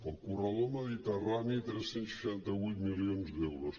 al corredor mediterrani tres cents i seixanta vuit milions d’euros